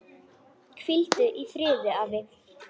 Hvíldu í friði, afi.